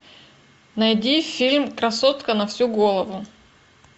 найди фильм красотка на всю голову